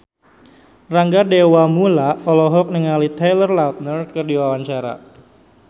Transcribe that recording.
Rangga Dewamoela olohok ningali Taylor Lautner keur diwawancara